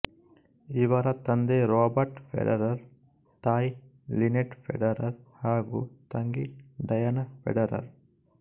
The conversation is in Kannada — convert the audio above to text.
ಇವರ ತಂದೆ ರಾಬರ್ಟ್ ಫೆಡರರ್ ತಾಯಿ ಲಿನೆಟ್ ಫೆಡರರ್ ಹಾಗೂ ತಂಗಿ ಡಯಾನ ಫೆಡರರ್